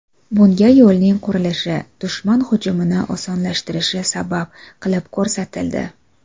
Bunga yo‘lning qurilishi dushman hujumini osonlashtirishi sabab qilib ko‘rsatildi.